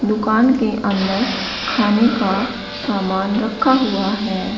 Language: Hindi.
दुकान के अंदर खाने का सामान रखा हुआ है।